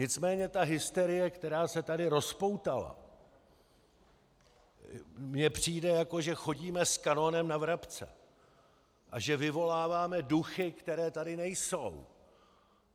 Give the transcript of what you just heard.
Nicméně ta hysterie, která se tady rozpoutala, mi přijde, jako že chodíme s kanonem na vrabce a že vyvoláváme duchy, které tady nejsou.